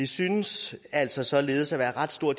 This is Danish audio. synes altså således at være ret stor